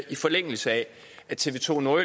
i forlængelse af at tv2 nord